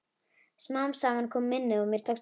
Smám saman kom minnið og mér tókst að hringja.